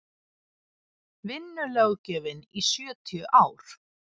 vinnulöggjöfin í sjötíu ár